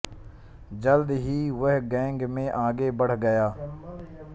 जल्द ही वह गैंग में आगे बढ़ गया